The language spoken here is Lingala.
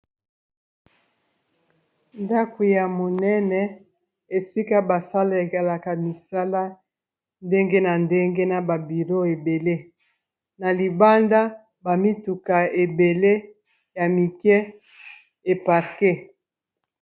Ndako ya monene esika basalelaka misala ndenge na ndenge na bureau ebele na libanda bamituka ebele ya mike eparque.